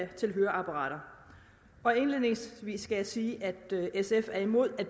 til høreapparater og indledningsvis skal jeg sige at sf er imod at